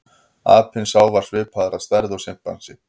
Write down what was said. Apinn sá var svipaður að stærð og simpansi.